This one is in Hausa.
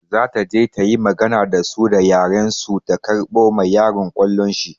Za ta je ta yi magana da su da yaren su ta karɓo ma yaron ƙwallon shi.